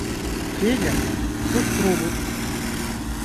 федя кострубов